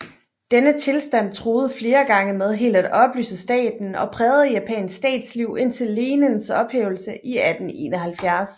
Denne tilstand truede flere gange med helt at opløse staten og prægede japansk statsliv indtil lenenes ophævelse 1871